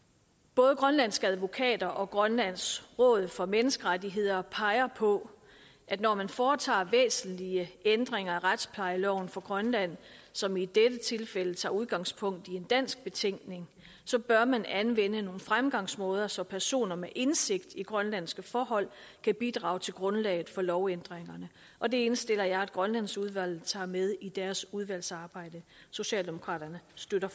både grønlandske advokater og grønlands råd for menneskerettigheder peger på at når man foretager væsentlige ændringer af retsplejeloven for grønland som i dette tilfælde tager udgangspunkt i en dansk betænkning så bør man anvende nogle fremgangsmåder så personer med indsigt i grønlandske forhold kan bidrage til grundlaget for lovændringerne og det indstiller jeg at grønlandsudvalget tager med i deres udvalgsarbejde socialdemokraterne støtter